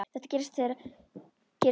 Þegar þetta gerðist hjá þér.